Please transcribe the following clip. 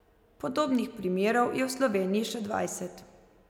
Podobnih primerov je v Sloveniji še dvajset.